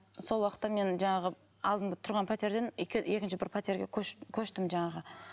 сол уақытта мен жаңағы алдында тұрған пәтерден екінші бір пәтерге көштім жаңағы